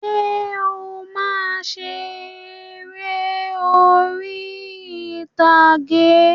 Ǹjẹ́ o máa ń ṣe eré orí ìtàgé?